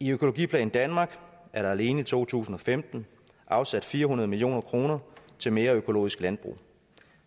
i økologiplan danmark er der alene i to tusind og femten afsat fire hundrede million kroner til mere økologisk landbrug